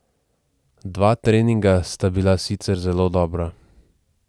Dva treninga sta bila sicer zelo dobra.